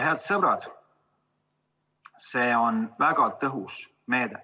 Head sõbrad, see on väga tõhus meede.